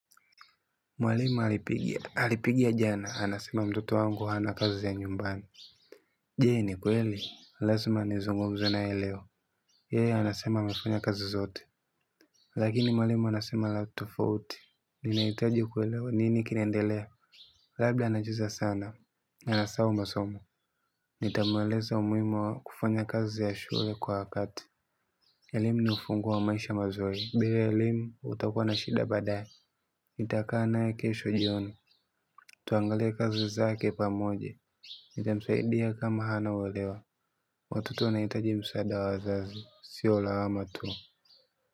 Mwalimu alipigia jana, anasema mtoto wangu hana kazi ya nyumbani. Je, ni kweli? Lazma nizungumze naye leo. Yeye anasema amefanya kazi zote. Lakini mwalimu anasema la tofauti. Ninahitaji kuelewa nini kinaendelea. Labda anacheza sana. Na asahau masomo. Nitamueleza umuhimu wa kufanya kazi ya shule kwa wakati. Elimu ni ufunguo wa maisha mazuri. Bila elimu, utakuwa na shida baadaye. Nitakaa naye kesho jioni. Tuangalie kazi zake pamoja. Nitamsaidia kama hana uelewa. Watoto wanahitaji msaada wa wazazi, sio lawama tu.